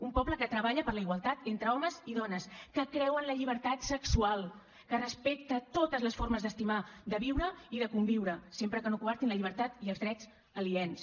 un poble que treballa per la igualtat entre homes i dones que creu en la llibertat sexual que respecta totes les formes d’estimar de viure i de conviure sempre que no coartin la llibertat i els drets aliens